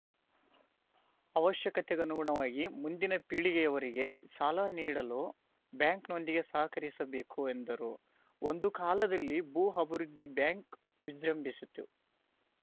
ಅವಶ್ಯಕತೆಗನುಗುಣವಾಗಿ ಮುಂದಿನ ಪೀಳಿಗೆಯವರಿಗೆ ಸಾಲ ನೀಡಲು ಬ್ಯಾಂಕ್‌ನೊಂದಿಗೆ ಸಹಕರಿಸಬೇಕು ಎಂದರು ಒಂದು ಕಾಲದಲ್ಲಿ ಭೂ ಅಭಿವೃದ್ಧಿ ಬ್ಯಾಂಕ್‌ ವಿಜೃಂಭಿಸಿತು